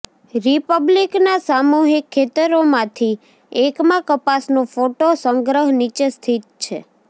રીપબ્લિકના સામૂહિક ખેતરોમાંથી એકમાં કપાસનું ફોટો સંગ્રહ નીચે સ્થિત છે